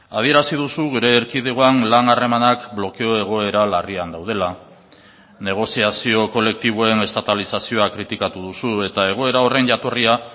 adierazi duzu gure erkidegoan lan harremanak blokeo egoera larrian daudela negoziazio kolektiboen estatalizazioa kritikatu duzu eta egoera horren jatorria